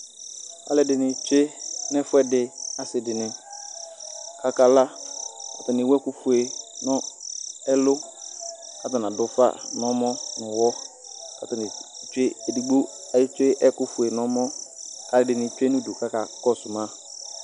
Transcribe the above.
aloɛdini tsue n'ɛfuedi ase dini k'aka la atani ewu ɛkò fue no ɛlu k'atani ado ufa n'ɔmɔ n'uwɔ k'atani tsue edigbo etsue ɛkofue n'ɔmɔ k'aloɛdini tsue n'udu k'aka kɔsu ma